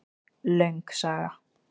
Löng saga